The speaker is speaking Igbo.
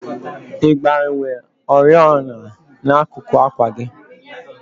Ị gbanwere oriọna n'akuku àkwà gị?